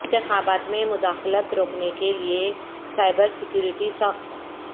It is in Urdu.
انتخابات میں مداخلت روکنے کے لیے سائبر سیکیورٹی سخت